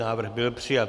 Návrh byl přijat.